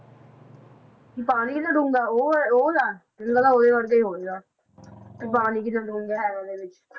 ਵੀ ਪਾਣੀ ਕਿੰਨਾ ਡੂੰਘਾ ਉਹ ਹੈ ਉਹ ਆ ਮੈਨੂੰ ਲੱਗਾ ਉਹਦੇ ਵਰਗਾ ਹੀ ਹੋਵੇਗਾ ਵੀ ਪਾਣੀ ਕਿੰਨਾ ਡੂੰਘਾ ਹੈਗਾ ਉਹਦੇ ਵਿਚ